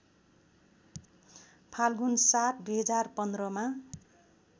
फाल्गुण ७ २०१५ मा